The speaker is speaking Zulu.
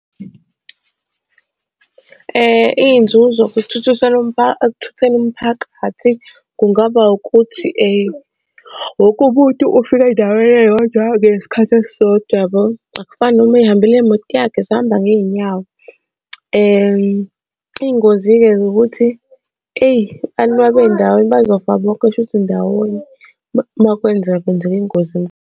Iy'nzuzo ekuthutheni umphakathi kungaba ukuthi wonke umuntu ufika endaweni eyodwa ngesikhathi esisodwa yabo. Akufani noma ey'hambela ngemoto sihamba ngey'nyawo. Iy'ngozi-ke ukuthi eyi abantu uma bendawonye bazofa bonke shuthi ndawonye uma kwenzeka kwenzeka ingozi.